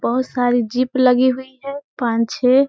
बोहोत सारी ज़ीप लगी हुई है। पांच छै --